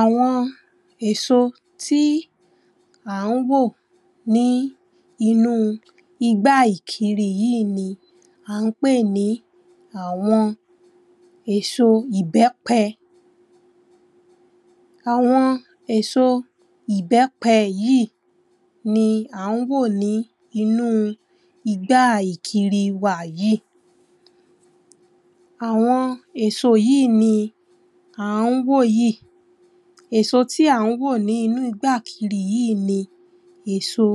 Àwọn èso tí à ń wò ní inú igbá ìkiri yìí ni à ń pè ní àwọn èso ìbẹ́pẹ àwọn èso ìbẹ́pẹ yìí ni à ń wò ní inú igbá ìkiri wa yìí àwọn èso yìí ni à ń wò yìí èso tí à ń wò nínú igbá ìkiri yìí ni èso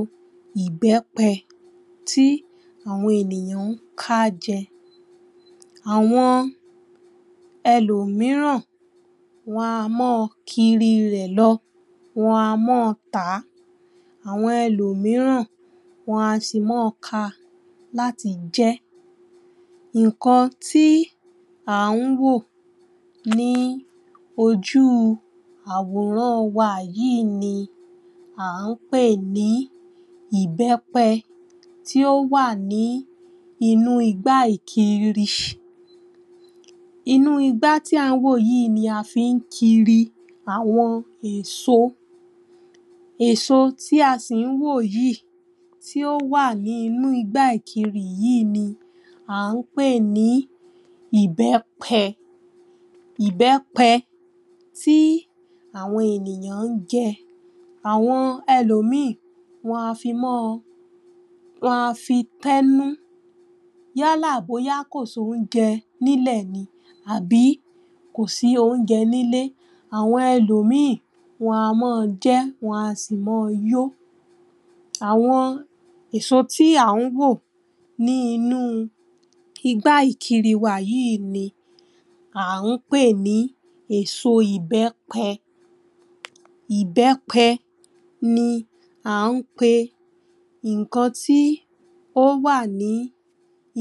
ìbẹ́pẹ tí àwọn ènìyàn ń ká jẹ Àwọn ẹlòmíràn wọ́n á máa kiri rẹ̀ lọ, wọ́n á máa tà á, àwọn ẹlòmíràn á sì máa ka láti jẹ Nǹkan tí à ń wò ní ojú àwòràn wa yìí ni à ń pè ní ìbẹ́pẹ tí ó wà ní inú igbá ìkiri inú igbá tí à ń wò yìí ni a fi ń kiri àwọn èso èso tí a sì ń wò yìí tí ó wà ní inú igbá ìkiri yìí ni à ń pè ní ìbẹ́pẹ ìbẹ́pẹ tí àwọn ènìyàn ń jẹ àwọn ẹlòmíì wọ́n á fi máa wọ́n á fi tẹ́nú yálà bóyá kò sí oúnjẹ nílẹ̀ ni àbí kò sí oúnjẹ nílé Àwọn ẹlòmíì, wọ́n á máa jẹ́, wọ́n á sì máa yó àwọn èso tí à ń wò ní inú igbá ìkiri wà yìí ni à ń pè ní èso ìbẹ́pẹ ìbẹ́pẹ ni à ń pe nǹkan tí ó wà ní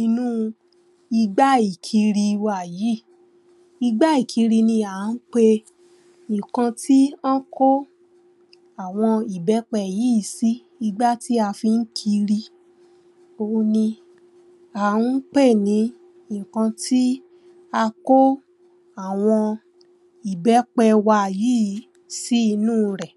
inú igbá ìkiri wa yìí igbá ìkiri ni a ń pe nǹkan tí wọ́n ko àwọn ìbẹ́pẹ yìí si igbá tí a fi ń kiri Òun ni à ń pè ni nǹkan tí a kó àwọn ìbẹ́pẹ wa yìí si inú rẹ̀